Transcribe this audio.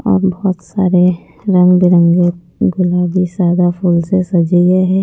और बहुत सारे रंग बिरंगे गुलाबी सादा फूल से सजे गए हैं।